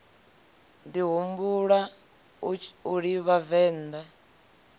ḓi humbula u livha venḓa